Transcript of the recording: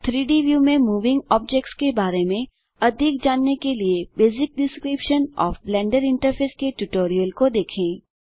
3डी व्यू में moving objects के बारे में अधिक जानने के लिए basic description of Blender interface के इस ट्यूटोरियल को देखें